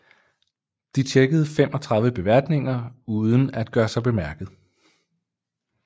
De tjekkede 35 beværtninger uden at gøre sig bemærket